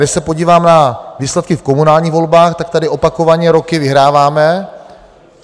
Když se podívám na výsledky v komunálních volbách, tak tady opakovaně roky vyhráváme.